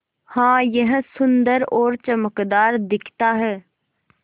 हाँ यह सुन्दर और चमकदार दिखता है